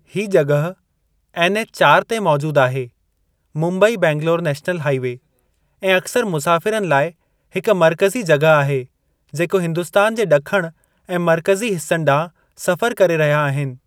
ही जॻह एनएच चार ते मौजूद आहे, मुम्बई-बैंगलौर नेशनल हाइवे, ऐं अक्सर मुसाफ़िरनि लाइ हिक मर्कज़ी जॻह आहे जेको हिन्दुस्तान जे ॾखणु ऐं मर्कज़ी हिसनि ॾांहुं सफ़रु करे रहिया आहिनि।